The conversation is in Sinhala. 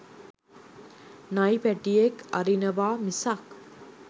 නයි පැටියෙක් අරිනවා මිසක්